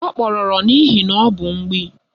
Ọ kpọrọrọ n'ihi na ọ bụ mgbịị